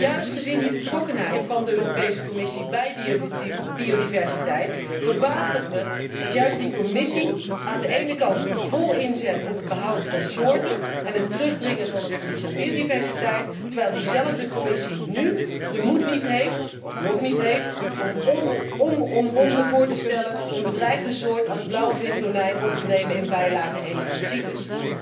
Juist gezien die betrokkenheid van de Europese Commissie bij die biodiversiteit verbaast het mij dat juist die Commissie aan de ene kant vol inzet op het behoud van soorten en het terugdringen van het verlies aan biodiversiteit, terwijl diezelfde Commissie nu de moed niet heeft of nog niet heeft om onomwonden voor te stellen een bedreigde soort als blauwvintonijn op te nemen in bijlage I van CITES.